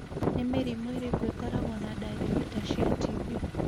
Nĩ mĩrimũ ĩrĩkũ ĩkoragwo na dariri ta cia TB?